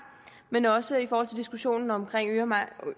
men også i forhold til diskussionen om